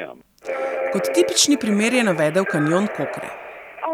Kot tipični primer je navedel kanjon Kokre.